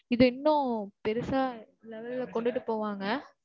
இது இன்னும் பெருசா, level ல, கொண்டுட்டு போவாங்க.